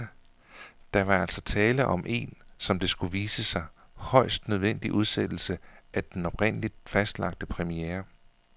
Der var altså tale om en, som det skulle vise sig, højst nødvendig udsættelse af den oprindeligt fastlagte premiere.